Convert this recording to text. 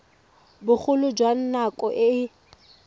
bogolo jwa nako e e